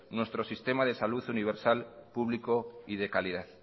nuestro sistema de salud universal público y de calidad